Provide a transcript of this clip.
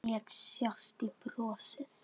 Það var nú eitt.